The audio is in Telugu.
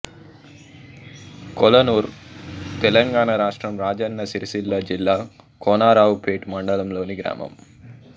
కొలనూర్ తెలంగాణ రాష్ట్రం రాజన్న సిరిసిల్ల జిల్లా కోనరావుపేట మండలంలోని గ్రామం